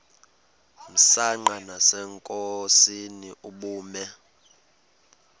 msanqa nasenkosini ubume